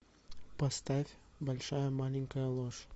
поставь большая маленькая ложь